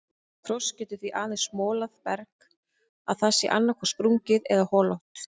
Frost getur því aðeins molað berg að það sé annaðhvort sprungið eða holótt.